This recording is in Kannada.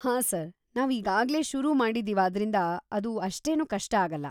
ಹಾಂ ಸರ್, ನಾವು ಈಗಾಗ್ಲೆ ಶುರು ಮಾಡಿದೀವಾದ್ರಿಂದ ಅದು ಅಷ್ಟೇನು ಕಷ್ಟ ಆಗಲ್ಲ.